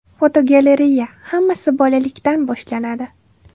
Fotogalereya: Hammasi bolalikdan boshlanadi.